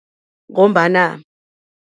Ngombana.